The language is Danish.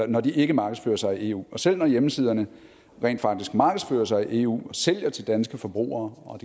når de ikke markedsfører sig i eu og selv når hjemmesiderne rent faktisk markedsfører sig i eu og sælger til danske forbrugere og